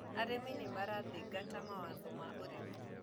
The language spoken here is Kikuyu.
Arĩmi nĩmarathingata mawatho ma ũrĩmi.